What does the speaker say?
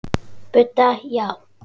Budda: Já.